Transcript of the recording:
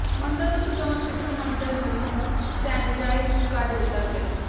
ਮੰਦਰ ਨੂੰ ਸਜਾਉਣ ਪਿੱਛੋਂ ਮੰਦਰ ਨੂੰ ਸੈਨੇਜਾਈਜ ਕਰ ਦਿੱਤਾ ਗਿਆ ਹੈ